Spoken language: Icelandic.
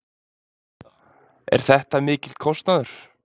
Er þetta mikill kostnaður?